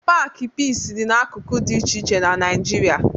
Paakị Piisi dị n'akụkụ dị iche iche na Naịjirịa